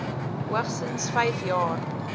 hoogstens vyf jaar